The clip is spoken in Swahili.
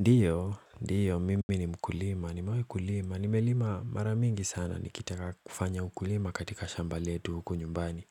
Ndiyo, ndiyo, mimi ni mkulima. Ni mawe kulima. Nimelima mara mingi sana. Nikitaka kufanya ukulima katika shamba letu huku nyumbani.